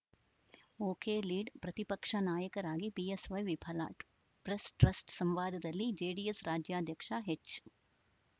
ಒಕೆಲೀಡ್‌ ಪ್ರತಿಪಕ್ಷ ನಾಯಕರಾಗಿ ಬಿಎಸ್‌ವೈ ವಿಫಲ ಪ್ರೆಸ್‌ಟ್ರಸ್ಟ್‌ ಸಂವಾದದಲ್ಲಿ ಜೆಡಿಎಸ್‌ ರಾಜ್ಯಾಧ್ಯಕ್ಷ ಎಚ್‌